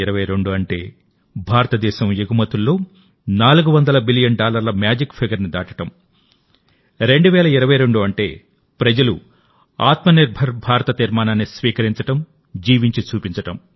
2022 అంటే భారతదేశం ఎగుమతుల్లో 400 బిలియన్ డాలర్ల మేజిక్ ఫిగర్ను దాటడం2022 అంటే ప్రజలుఆత్మ నిర్భర్ భారత్ తీర్మానాన్ని స్వీకరించడంజీవించి చూపించడం